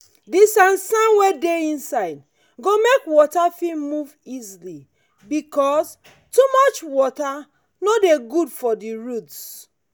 the sand sand wey dey inside go make water fit move easily because too much water no dey good for the roots.